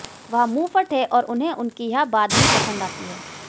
वह मुंह फट हैं और उन्हें उनकी यह बात भी पसंद आती है